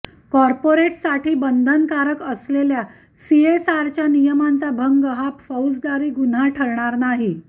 कॉपोर्रेटसाठी बंधनकारक असलेल्या सीएसआरच्या नियमांचा भंग हा फौजदारी गुन्हा ठरणार नाही